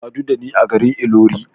Ka sadu da ni a garin Ilori.